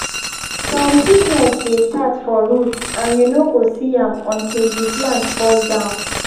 some sickness dey start for root and you no go see am until the plant fall down.